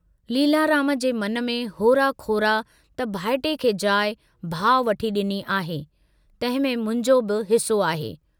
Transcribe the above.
लीलाराम जे मन में होरा खोरा त भाइटिए खे जाइ भाउ वठी डिनी आहे, तंहिंमें मुंहिंजो बि हिस्सो आहे।